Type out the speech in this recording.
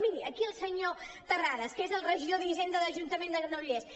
miri aquí el senyor terrades que és el regidor d’hisenda de l’ajuntament de granollers